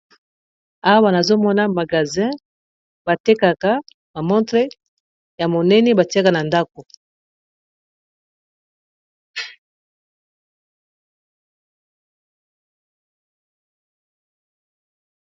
Awa nazomona magazin nakati ya magazin oyo batekaka ba montre ya monene batiaka na ndako